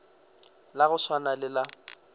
la go swana le la